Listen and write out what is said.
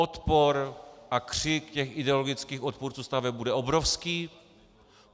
Odpor a křik těch ideologických odpůrců staveb bude obrovský.